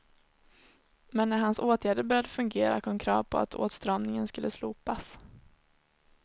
Men när hans åtgärder började fungera kom krav på att åtstramningen skulle slopas.